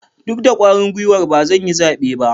Duk da kwarin guiwar ba zan yi zabe ba.